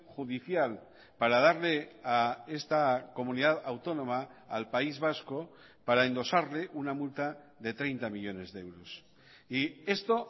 judicial para darle a esta comunidad autónoma al país vasco para endosarle una multa de treinta millónes de euros y esto